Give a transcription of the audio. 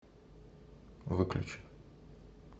выключи